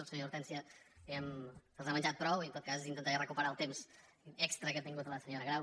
la senyora hortènsia diguem ne se’ls ha menjat prou i en tot cas intentaré recuperar el temps extra que ha tingut la senyora grau